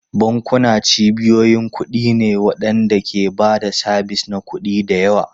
Bankuna cibiyoyin kuɗi ne waɗanda ke ba da sabis na kuɗi da yawa.